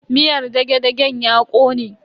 Miyar dage-dagen ya kone.